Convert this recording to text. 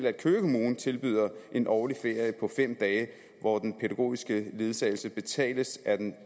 at køge kommune tilbyder en årlig ferie på fem dage hvor den pædagogiske ledsagelse betales af den